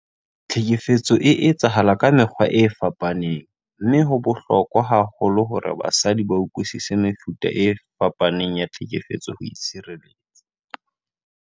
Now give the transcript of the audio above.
Tlhekefetso e etsahala ka mekgwa e fapaneng mme ho bohlokwa haholo hore basadi ba utlwisise mefuta e fapaneng ya tlhekefetso ho itshireletsa.